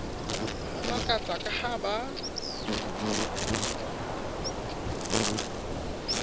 ba makatsa ka ha ba